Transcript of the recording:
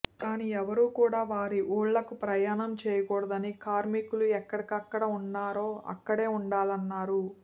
కానీ ఎవరూ కూడా వారి ఊళ్లకు ప్రయాణం చేయకూడదని కార్మికులు ఎక్కడెక్కడ ఉన్నారో అక్కడే ఉండాలన్నారు